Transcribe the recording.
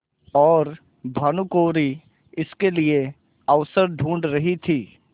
और भानुकुँवरि इसके लिए अवसर ढूँढ़ रही थी